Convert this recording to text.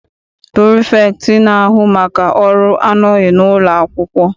Pirifektị na-ahu maka ọrụ anọghị n'ụlọ akwụkwọ.